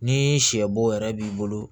Ni sɛ bo yɛrɛ b'i bolo